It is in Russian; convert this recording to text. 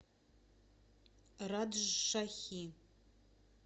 раджшахи